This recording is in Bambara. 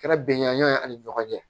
Kɛra bɛnganɲɔn ye ani ɲɔgɔn cɛ